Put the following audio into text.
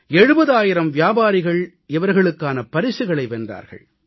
70000 வியாபாரிகள் இவர்களுக்கான பரிசுகளை வென்றார்கள்